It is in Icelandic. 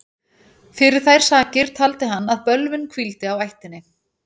Fyrir þær sakir taldi hann að bölvun hvíldi á ættinni.